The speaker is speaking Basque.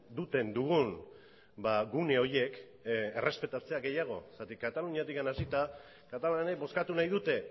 duten dugun gune horiek errespetatzea gehiago zergatik kataluniatik hasita katalanek bozkatu nahi dute